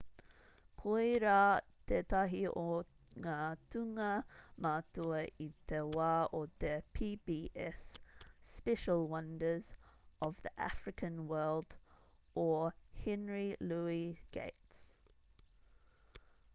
koirā tētahi o ngā tūnga matua i te wā o te pbs special wonders of the african world o henry louis gates